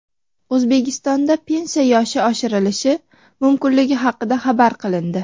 O‘zbekistonda pensiya yoshi oshirilishi mumkinligi xabar qilindi .